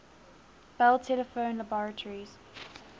bell telephone laboratories